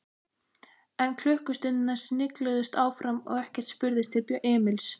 En klukkustundirnar snigluðust áfram og ekkert spurðist til Emils.